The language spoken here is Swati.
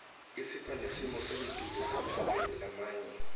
isipha nesimoselitulu semave lamanye